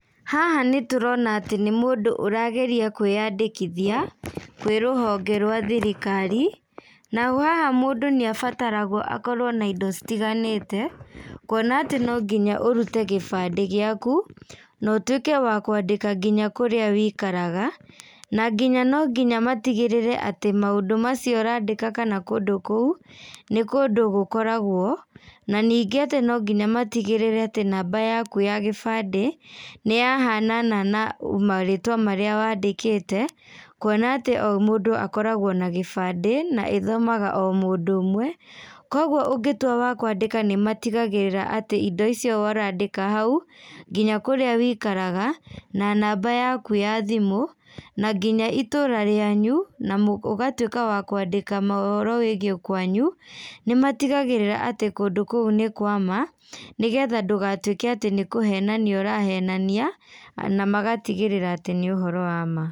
Haha nĩtũrona atĩ nĩ mũndũ ũrageria kwĩandĩkithia kwĩ rũhonge rwa thirikari naho haha mũndũ nĩ abataragwo akorwo na indo citiganĩte kuona atĩ no nginya ũrute gĩbandĩ gĩaku na ũtwĩke wa kwandĩka ngĩnya kũrĩa ũikaraga na nginya no nginya matigĩrĩre atĩ maũndũ macio ũrandĩka kana kũndũ kũu nĩ kũndũ gũkoragwo, na ningĩ no nginya matigĩrĩre atĩ namba yaku ya gĩbandĩ, nĩ yahanana na marĩtwa marĩa wandĩkĩte kuona atĩ o mũndũ akoragwo na gĩbandĩ na ĩthomaga o mũndũ ũmwe. Kũoguo ũngĩtuĩka wa kwandĩka nĩ matigagĩrĩra atĩ indo icio ũrandĩka hau, ngĩnya kũrĩa ũikaraga, na namba yaku ya thimũ na nginya itũra rĩanyu, na ũgatuĩka wa kũandĩka ũhoro wĩgiĩ kwanyu, nĩmatigagĩrĩra atĩ kũndũ kũu nĩ kwama nĩgetha ndũgatuĩke atĩ nĩkũhenania ,ũrahenania na magatigĩrĩra atĩ nĩ ũhoro wama.